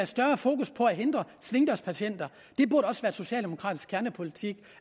større fokus på at hindre svingdørspatienter det burde også være socialdemokratisk kernepolitik